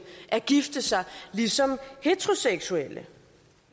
at gifte sig ligesom heteroseksuelle